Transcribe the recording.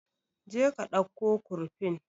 Je ka ɗauko kurfin